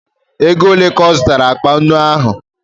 Ego ole ka ị zụtara akpa nnu ahụ?